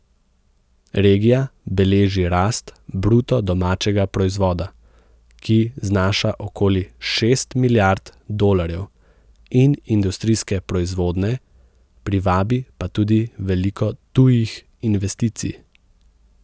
Regija beleži rast bruto domačega proizvoda, ki znaša okoli šest milijard dolarjev, in industrijske proizvodnje, privabi pa tudi veliko tujih investicij.